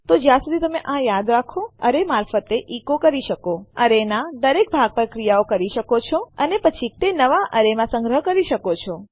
તો જ્યાં સુધી તમે આ યાદ રાખો તમે તમારા એરે મારફતે ઇકો કરી શકો તમારા એરેના દરેક ભાગ પર ક્રિયાઓ કરી શકો છો અને પછી કદાચ તે નવા એરે માં સંગ્રહ કરી શકો છો